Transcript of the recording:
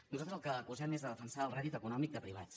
nosaltres del que els acusem és de defensar el rèdit econòmic de privats